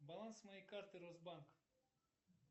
баланс моей карты росбанк